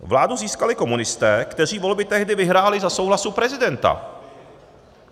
Vládu získali komunisté, kteří volby tehdy vyhráli, za souhlasu prezidenta.